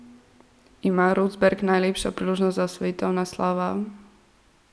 Ima Rosberg najlepšo priložnost za osvojitev naslova?